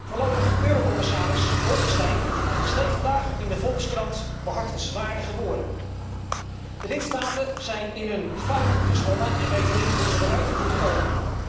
Voorlopig, eurocommissaris Bolkestein schreef vandaag in de Volkskrant behartenswaardige woorden De lidstaten zijn in een fuik gezwommen en weten niet hoe ze eruit moeten komen.